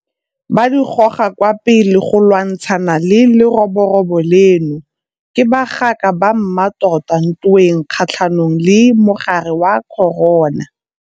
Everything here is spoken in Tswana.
Ba di goga kwa pele go lwantshana le leroborobo leno. Ke bagaka ba mmatota ntweng kgatlhanong le mogare wa corona.